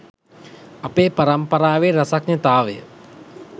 අපේ පරම්පරාවේ රසඥතාවය